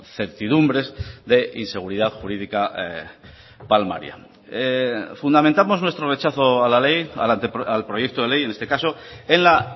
certidumbres de inseguridad jurídica palmaria fundamentamos nuestro rechazo a la ley al proyecto de ley en este caso en la